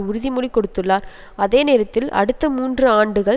உறுதிமொழி கொடுத்துள்ளார் அதேநேரத்தில் அடுத்த மூன்று ஆண்டுகள்